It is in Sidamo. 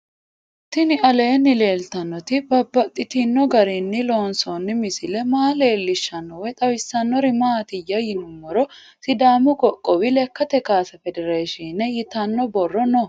Tinni aleenni leelittannotti babaxxittinno garinni loonsoonni misile maa leelishshanno woy xawisannori maattiya yinummoro sidaamu qoqqowi lekkatte kaasse federeeshiine yittanno borro noo